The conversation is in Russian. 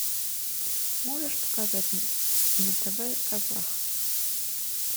можешь показать на тв казах